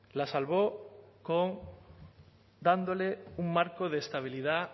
la salvó con dándole un marco de estabilidad